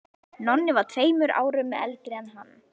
Nonni var tveimur árum eldri en hann.